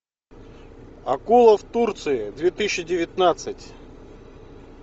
акула в турции две тысячи девятнадцать